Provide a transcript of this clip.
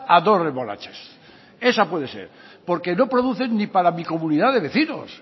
a dos remolachas esa puede ser porque no producen ni para mi comunidad de vecinos